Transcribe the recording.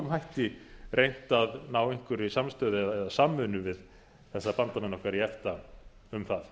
hætti reynt að ná einhverri samstöðu eða samvinnu við þess bandamenn okkar í efta um það